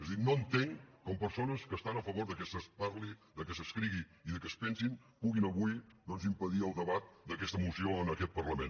és a dir no entenc com persones que estan a favor que es parli que s’escrigui i que es pensi puguin avui doncs impedir el debat d’aquesta moció en aquest parlament